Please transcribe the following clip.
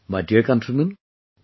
My dear countrymen,